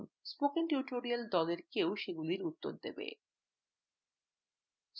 spoken tutorial দলের কেউ সেগুলির উত্তর দেবে